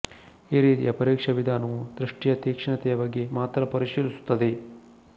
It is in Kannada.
ಈ ರೀತಿಯ ಪರೀಕ್ಷಾ ವಿಧಾನವು ದೃಷ್ಟಿಯ ತೀಕ್ಷ್ಣತೆಯ ಬಗ್ಗೆ ಮಾತ್ರ ಪರೀಶೀಲಿಸುತ್ತದೆ